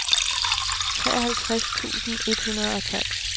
treoghalvtreds tusind et hundrede og tolv